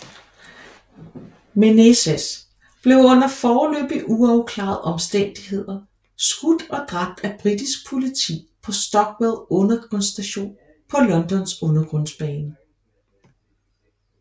Menezes blev under foreløbig uafklarede omstændigheder skudt og dræbt af britisk politi på Stockwell undergrundsstation på Londons undergrundsbane